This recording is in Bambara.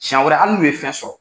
siyan wɛrɛ hali n'u ye fɛn sɔrɔ.